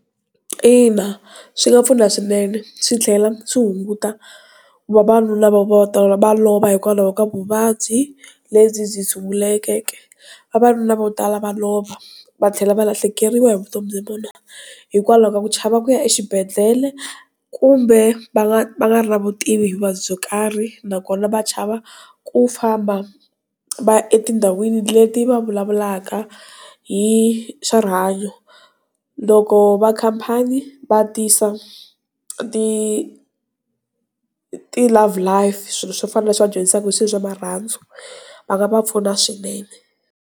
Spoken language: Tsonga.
Ina, swi nga pfuna swinene swi tlhela swi hunguta ku vavanuna va ta va lova hikwalaho ka vuvabyi lebyi byi sunguleke vavanuna vo tala va lova va tlhela va lahlekeriwa hi vutomi bya vona hikwalaho ka ku chava ku ya exibedhlele kumbe va nga va nga ri na vutivi byo karhi nakona va chava ku famba va ya etindhawini leti va vulavulaka hi swa rihanyo loko va khampani va tisa ti love life swilo swo fana na leswi va dyondzisiwaka hi swilo swa marhandzu va nga va pfuna swinene.